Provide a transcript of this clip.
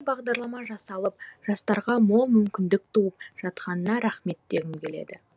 осындай бағдарлама жасалып жастарға мол мүмкіндік туып жатқанына рахмет дегім келеді